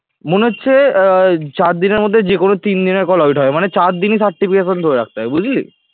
মনে হচ্ছে আহ চার দিনের মধ্যে যে কোন তিন দিনের call audit হবে মানে চার দিনই certification ধরে রাখতে হবে বুঝলি